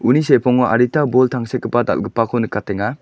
uni sepango adita bol tangsekgipa dal·gipako nikatenga.